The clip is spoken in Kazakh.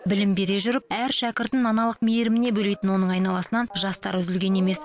білім бере жүріп әр шәкіртін аналық мейіріміне бөлейтін оның айналасынан жастар үзілген емес